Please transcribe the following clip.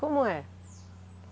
Como é?